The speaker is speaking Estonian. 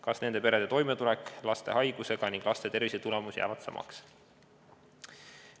Kas nende perede toimetulek laste haigusega ning laste tervisetulemus jäävad samaks?